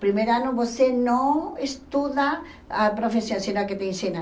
Primeiro ano você não estuda a profissão, senão que te ensinam.